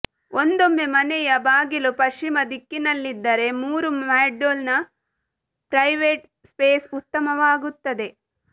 ಒಂದೊಮ್ಮೆ ಮನೆಯ ಬಾಗಿಲು ಪಶ್ಚಿಮ ದಿಕ್ಕಿನಲ್ಲಿದ್ದರೆ ಮೂರು ಮಾಡ್ಯೂಲ್ನ ಪ್ರೈವೇಟ್ ಸ್ಪೇಸ್ ಉತ್ತಮವಾಗುತ್ತದೆ